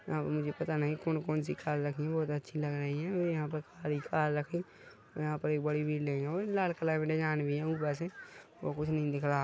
यहाँ पर मुझे पता नही कोन कोन सी कार लगी हुई है बहुत अच्छी लग रही है यहाँ पर कार रखी और यहाँ पर एक बड़ी बिल्डिंग है लाल कलर का निसान भी है और कुछ नहीं दिख रहा--